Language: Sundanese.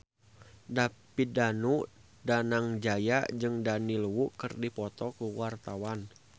David Danu Danangjaya jeung Daniel Wu keur dipoto ku wartawan